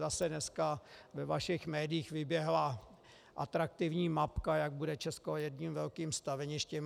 Zase dneska ve vašich médiích vyběhla atraktivní mapka, jak bude Česko jedním velkým staveništěm.